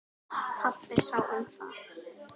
Pabbi sá um það.